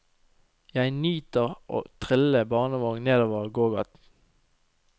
Jeg nyter å trille barnevogn nedover gågaten.